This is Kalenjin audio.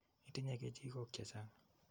Itinye kechikok che chang'.